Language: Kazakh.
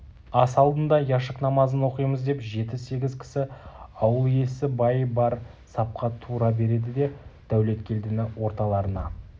ас алдында яшык намазын оқимыз деп жеті-сегіз кісі ауыл иесі бай бар сапқа тура береді де дәулеткелдіні орталарына